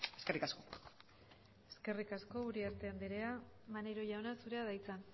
eskerrik asko eskerrik asko uriarte anderea maneiro jauna zurea da hitza